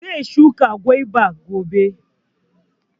Zai shuka gwaba gobe